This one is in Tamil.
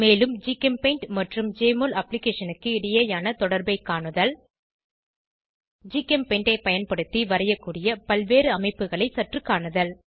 மேலும் ஜிகெம்பெயிண்ட் மற்றும் ஜெஎம்ஒஎல் அப்ளிகேஷனுக்கு இடையேயான தொடர்பை காணுதல் ஜிகெம்பெயிண்ட் ஐ பயன்படுத்தி வரையக்கூடிய பல்வேறு அமைப்புகளை சற்று காணுதல்